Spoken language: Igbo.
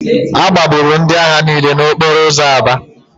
A gbagburu ndị agha niile n'okporo ụzọ Aba